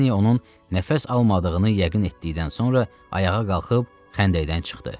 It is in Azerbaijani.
Lafreni onun nəfəs almadığını yəqin etdikdən sonra ayağa qalxıb xəndəkdən çıxdı.